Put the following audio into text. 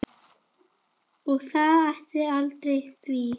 Og hvað ætli valdi því?